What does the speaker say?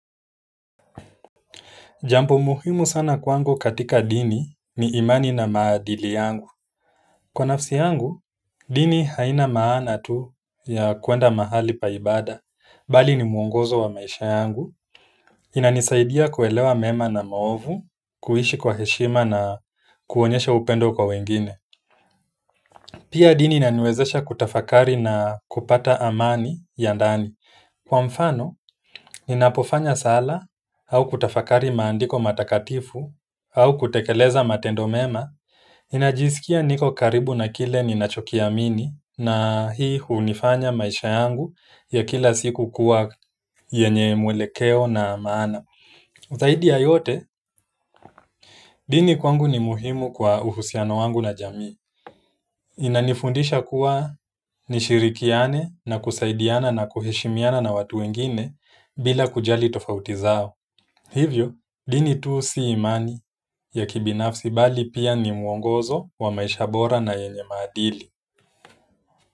Jambo muhimu sana kwangu katika dini ni imani na maadili yangu. Kwa nafsi yangu dini haina maana tu ya kuenda mahali pa ibada bali ni muongozo wa maisha yangu. Inanisaidia kuelewa mema na maovu, kuishi kwa heshima na kuonyesha upendo kwa wengine. Pia dini inaniwezesha kutafakari na kupata amani ya ndani. Kwa mfano, ninapofanya sala au kutafakari maandiko matakatifu au kutekeleza matendo mema, ninajisikia niko karibu na kile ninachokiamini na hii hunifanya maisha yangu ya kila siku kuwa yenye mwelekeo na maana. Zaidi ya yote, dini kwangu ni muhimu kwa uhusiano wangu na jamii. Inanifundisha kuwa nishirikiane na kusaidiana na kuheshimiana na watu wengine bila kujali tofauti zao. Hivyo dini tu si imani ya kibinafsi bali pia ni mwongozo wa maisha bora na yenye maadili.